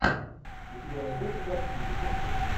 у тебя найдется городские легенды